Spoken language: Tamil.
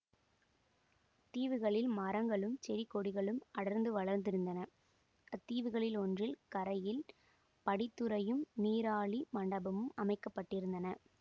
தீவுகளில் மரங்களும் செடி கொடிகளும் அடர்ந்து வளர்ந்திருந்தன அத்தீவுகளில் ஒன்றின் கரையில் படித்துறையும் நீராழி மண்டபமும் அமைக்கப்பட்டிருந்தன